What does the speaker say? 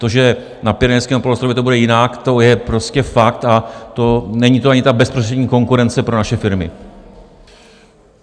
To, že na Pyrenejském poloostrově to bude jinak, to je prostě fakt, a není to ani ta bezprostřední konkurence pro naše firmy.